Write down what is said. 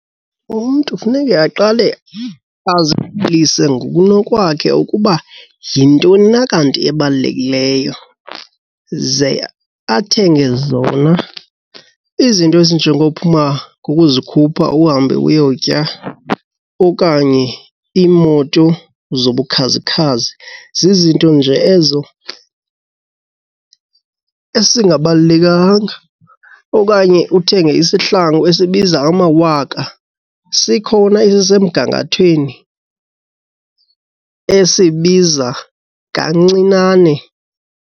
Umntu funeke aqale ngokunokwakhe ukuba yintoni na kanti ebalulekileyo ze athenge zona. Izinto ezinjengophuma ngokuzikhupha uhambe uyotya okanye iimoto zobukhazikhazi zizinto nje ezo ezingabalulekanga okanye uthenge isihlangu esibiza amawaka sikhona esisemgangathweni esibiza kancinane.